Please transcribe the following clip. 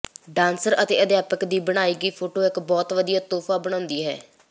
dancer ਅਤੇ ਅਧਿਆਪਕ ਦੀ ਬਣਾਈ ਗਈ ਫੋਟੋ ਇੱਕ ਬਹੁਤ ਵਧੀਆ ਤੋਹਫ਼ਾ ਬਣਾਉਂਦੀ ਹੈ